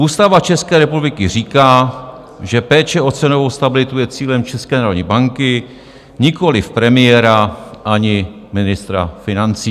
Ústava České republiky říká, že péče o cenovou stabilitu je cílem České národní banky, nikoliv premiéra ani ministra financí.